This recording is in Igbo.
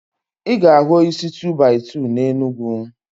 I ga ahu osisi 2-by-2 na Enugu